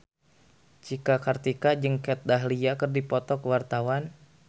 Cika Kartika jeung Kat Dahlia keur dipoto ku wartawan